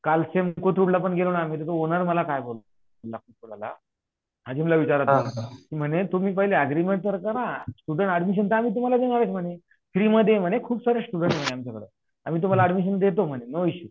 काल सेम कोथरूडलापण गेलोना तेथे ओनर मला काय बोलला विचारा तुम्ही म्हणे पहिले तुम्ही अग्रीमेंट तर करा अडमीशन तर तुम्हाला देणार हे फ्री मध्ये हे खूप सारे स्टुडेंट आहे आमच्या कडे आम्ही तुम्हाला अडमीशन देतो नो इशू